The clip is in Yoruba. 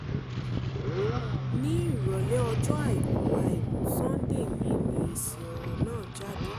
ní ìrọ̀lẹ́ ọjọ́ àìkú àìkú sánńdé yìí ni èsì ọ̀rọ̀ náà jáde